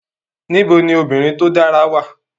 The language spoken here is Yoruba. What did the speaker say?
Níbo ni obìnrin tó dára wà